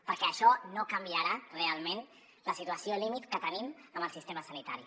perquè això no canviarà realment la situació límit que tenim en el sistema sanitari